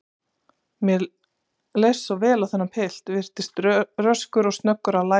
Mér leist svo vel á þennan pilt, virtist röskur og snöggur að læra.